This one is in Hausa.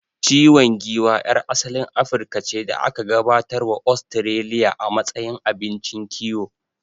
Ciwan giwa yar asalin Afirka ce da aka gabatar wa Ostiraliya a matsayin abincin kiwo